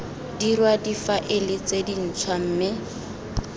dirwa difaele tse dintshwa mme